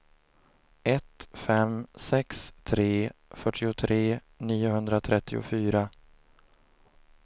ett fem sex tre fyrtiotre niohundratrettiofyra